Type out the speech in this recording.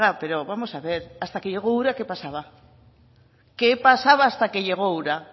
pero vamos a ver hasta que llegó ura qué pasaba qué pasaba hasta que llegó ura